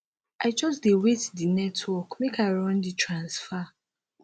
i just dey wait di network make i run di transfer